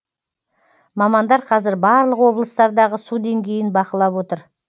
мамандар қазір барлық облыстардағы су деңгейін бақылап отыр